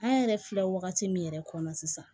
An yɛrɛ filɛ wagati min yɛrɛ kɔnɔ sisan